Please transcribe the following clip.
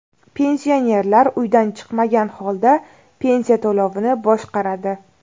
Pensionerlar uydan chiqmagan holda pensiya to‘lovini boshqaradi.